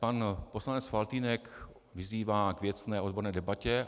Pan poslanec Faltýnek vyzývá k věcné odborné debatě.